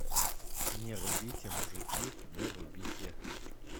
не рубите мужики не рубите